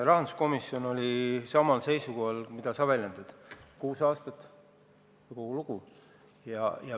Rahanduskomisjon oli samal seisukohal, mida sa märkisid: kuus aastat, ja kogu lugu.